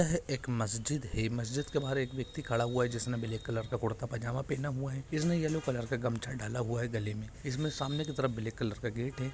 यह एक मस्जिद है | मस्जिद के बाहर एक व्यक्ति खड़ा हुआ है जिसने ब्लैक कलर का कुरता पैजामा पहना हुआ है | इसने येल्लो कलर का गमछा डाला हुआ है गले में | इसमें सामने के तरफ ब्लैक कलर का गेट है |